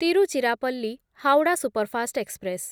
Tiruchirappalli Howrah superfast express